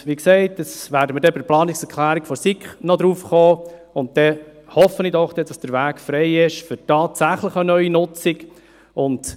Wie gesagt: Wir werden bei der Planungserklärung der SiK noch darauf zurückkommen, und dann hoffe ich doch, dass der Weg tatsächlich für eine neue Nutzung frei sein wird.